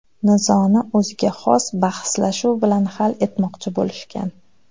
Nizoni o‘ziga xos bahslashuv bilan hal etmoqchi bo‘lishgan.